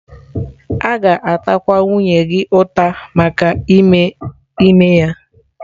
A ga-atakwa nwunye gị ụta maka ime ime ya?